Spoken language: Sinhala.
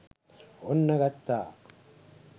ඔන්න ගත්තා